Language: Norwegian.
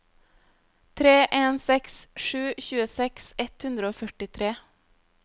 tre en seks sju tjueseks ett hundre og førtitre